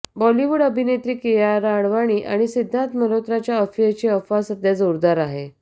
बॉलिवूड अभिनेत्री कियारा अडवाणी आणि सिद्धार्थ मल्होत्राच्या अफेअरची अफवा सध्या जोरदार आहे